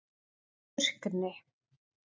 Burkni